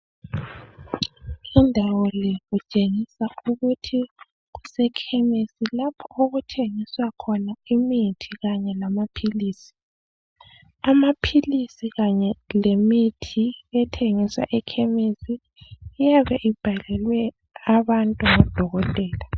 Indawo le kutshengisa ukuthi kusekhemesi lapho okuthengiswa imithi kaye lamaphilisi. Amaphilisi kanye lemithi ethengiswa ekhemesi, iyabe ibhalelwe abantu ngudokotela.